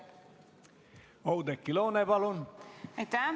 Oudekki Loone, palun!